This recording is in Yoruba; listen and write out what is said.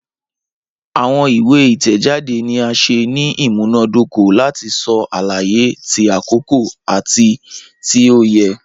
Awọn iwe itẹjade ni a ṣe ni imunadoko lati sọ alaye ti akoko ati ti o yẹ.